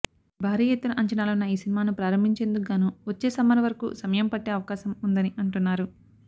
భారీ ఎత్తున అంచనాలున్న ఈ సినిమాను ప్రారంభించేందుకు గాను వచ్చే సమ్మర్ వరకు సమయం పట్టే అవకాశం ఉందని అంటున్నారు